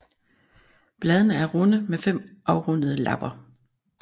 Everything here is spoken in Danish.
Bladene er runde med fem afrundede lapper